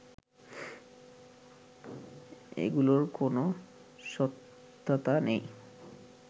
এগুলোর কোনো সত্যতা নেই